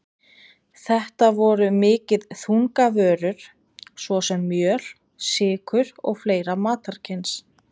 Þetta voru mikið þungavörur, svo sem mjöl, sykur og fleira matarkyns.